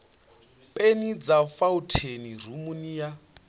peni dza fauntheini rumuni ya